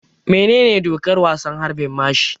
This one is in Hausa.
Menene dokar wasan harbin mashi?